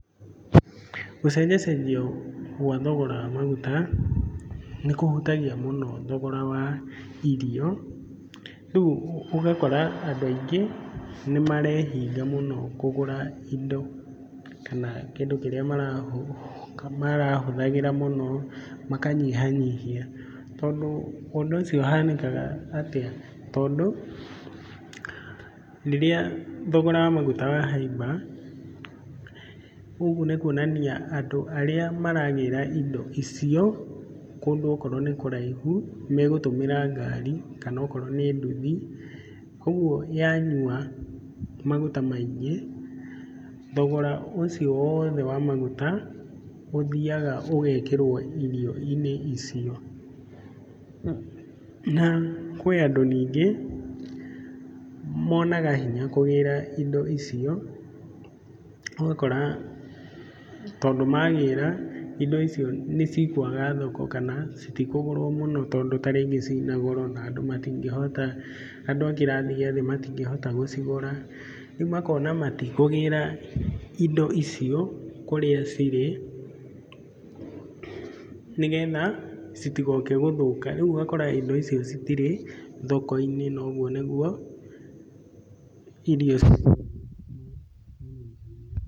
Gũcenjacenjio kwa thogora wa maguta, nĩ kũhutagia mũno thogora wa irio, rĩu ũgakora andũ aingĩ, nĩ marehinga mũno kũgũra indo, kana kĩndũ kĩrĩa marahũthagĩra mũno makanyihanyihia, tondũ ũndũ ũcio ũhanĩkaga atĩa, tondũ rĩrĩa thogora wa maguta wahaimba, ũguo nĩ kuonania andũ arĩa maragĩra indo icio, kũndũ okorwo nĩ kũraihu, megũtũmĩra ngari kana akorwo nĩ nduthi, ũguo yanyua maguta maingĩ, thogora ũcio wothe wa maguta, ũthiaga ũgekĩrwo irio-inĩ icio. Na kwĩ andũ ningĩ, monaga hinya kũgĩra indo icio, ũgakora tondũ magĩra indo icio nĩ cikwaga thoko, kana citikũgũrwo mũno tondũ ta rĩngĩ ciĩna goro, na andũ matingĩhota, andũ a kĩrathi gĩa thĩ matingĩhota gũcigũra, rĩu ũkona matikũgĩra indo icio kũrĩa cirĩ, nĩgetha citigoke gũthũka, rĩu ũgakora indo icio citirĩ thoko-inĩ na ũguo nĩguo irio....